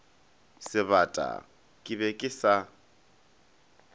sebata ke be ke sa